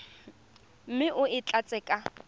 mme o e tlatse ka